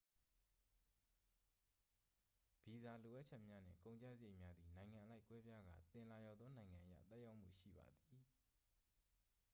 ဗီဇာလိုအပ်ချက်များနှင့် ကုန်ကျစရိတ်များသည် နိုင်ငံအလိုက် ကွဲပြားကာ သင်လာရောက်သောနိုင်ငံအရ သက်ရောက်မှုရှိပါသည်